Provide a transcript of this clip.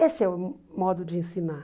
Esse é o modo de ensinar.